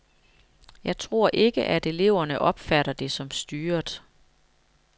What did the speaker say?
Jeg tror ikke, at eleverne opfatter det som styret.